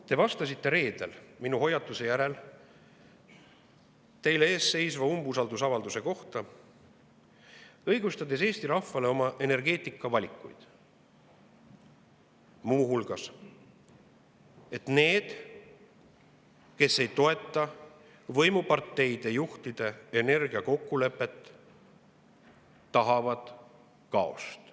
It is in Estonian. Te vastasite reedel, minu hoiatuse järel, teie ees seisva umbusaldusavalduse kohta, õigustades Eesti rahvale oma energeetikavalikuid muu hulgas nii, et need, kes ei toeta võimuparteide juhtide energiakokkulepet, tahavad kaost.